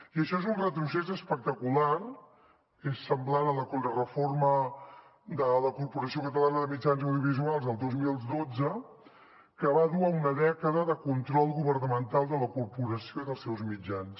i això és un retrocés espectacular és semblant a la contrareforma de la corporació catalana de mitjans audiovisuals del dos mil dotze que va dur a una dècada de control governamental de la corporació i dels seus mitjans